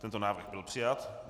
Tento návrh byl přijat.